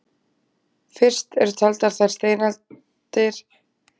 Fyrst eru taldar þær steindir sem linastar eru, en síðast hinar harðari.